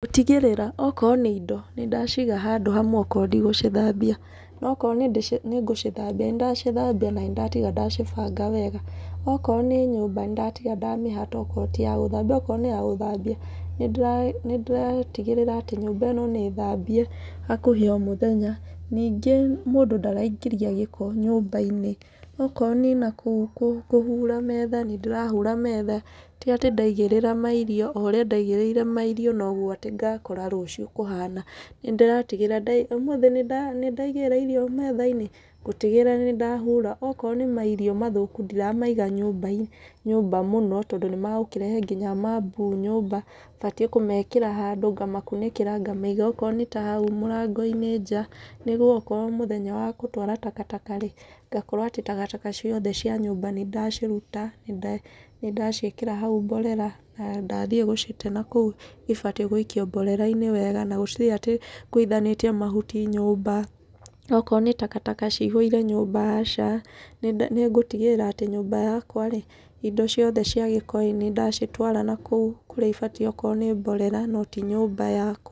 Gũtigĩrĩra o korwo nĩ indo nĩndaciga handũ amwe okorwo ndigũcithambia, na okorwo nĩngũcithambia nĩndacithambia na nĩndatiga ndacibanga wega. Okorwo nĩ nyũmba nĩndatiga ndamĩhata okorwo ti ya gũthambio, okorwo nĩ ya gũthambio nĩ ndĩratigĩrĩra atĩ nyũmba ĩno nĩthambie hakuhĩ o mũthenya. Ningĩ mũndũ ndaraingĩria gĩko nyũmba-inĩ, okorwo nĩ nakũu kũhura metha nĩ ndĩrahura metha, ti atĩ ndaigĩrĩra mairio o ũrĩa ndaigĩrĩire mairio noguo atĩ ngakora rũciũ kuhana. Nĩndĩratigĩrĩra ũmũthĩ nĩndaigĩrĩra irio metha-inĩ, ngũtigĩrĩra nĩndahura okorwo nĩ mairio mathũku ndiramaiga nyũmba mũno, tondũ nĩmagũkĩrehe nginya mambuu nyũmba. Batiĩ kũmekĩra handũ, ngamakunĩkĩra ngamaiga handũ okorwo nĩ ta hau mũrango-inĩ nja nĩguo okorwo nĩ mũthenya wa gũtwara takataka rĩ, ngakorwo atĩ takataka ciothe cia nyũmba nĩndaciruta nĩndaciĩkĩra haũ mborera na ndathiĩ gũcite nakũu ibatiĩ gũikio mborera-inĩ wega na gũtirĩ atĩ ngũithanĩtie mahuti nyũmba. Okorwo nĩ takataka cihũire nyũmba, aca, nĩngũtigĩrĩra atĩ nyũmba yakwa rĩ indo ciothe cia gĩko nĩndacitwara nakũu kũrĩa ibatiĩ okorwo nĩ mborera no ti nyũmba yakwa.